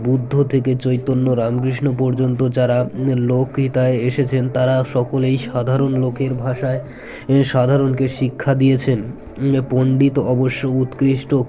বুদ্ধ থেকে চৈতন্য রামকৃষ্ণ পর্যন্ত যারা লোকহিতায় এসেছেন তারা সকলেই সাধারণ লোকের ভাষায় সাধারণকে শিক্ষা দিয়েছেন পন্ডিত অবশ্য উৎকৃষ্ট